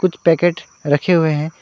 कुछ पैकेट रखे हुए है।